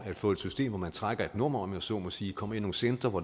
det få et system hvor man trækker et nummer om jeg så må sige kommer i nogle centre hvor